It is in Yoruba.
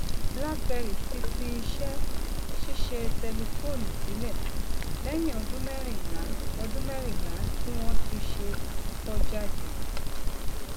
blackberry ti fi iṣẹ ṣíṣe tẹlifóònù sílẹ lẹyìn ọdún mẹrìnlá ọdún mẹrìnlá tí wọn ti ṣe àkókọ jáde